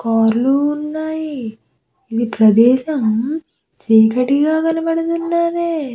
కార్లు ఉన్నాయి ఈ ప్రదేశం చీకటిగా కనపడుతుంది.